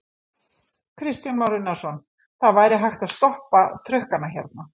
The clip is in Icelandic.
Kristján Már Unnarsson: Það væri hægt að stoppa trukkana hérna?